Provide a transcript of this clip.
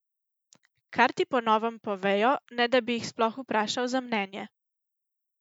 Kar ti po novem povejo, ne da bi jih sploh vprašal za mnenje.